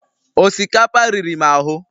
osikapa riri m ahụ